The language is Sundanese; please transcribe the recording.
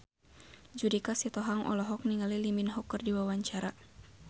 Judika Sitohang olohok ningali Lee Min Ho keur diwawancara